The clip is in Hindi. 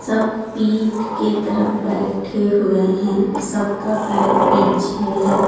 सब पीठ के तरफ बैठे हुए हैं सबका पर पीछे है.